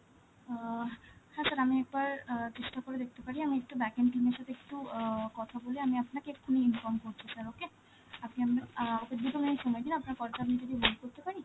আ হ্যাঁ sir আমি একবার আ চেষ্টা করে দেখতে পারি, আমি একটু এর সাথে একটু আ কথা বলে, আমি আপনাকে এক্ষুনি inform করছি sir, okay? আপনি আপনার~ আ দুটো minute সময় দিন, আপনার call টা আমি যদি hold করতে পারি?